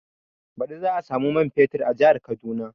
Baɗi za a samu man fetur a jihar Kaduna